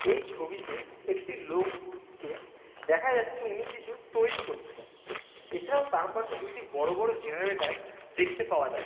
এই ছবিতে একটি লোক কে দেখা যাচ্ছে উনি কিছু তৈরি করছেন এছাড়াও তার পাশে দুটি বড় বড় জেনারেটর দেখতে পাওয়া যা --